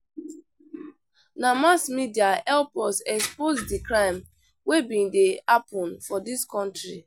Na mass media help us expose di crime wey bin dey happen for dis country.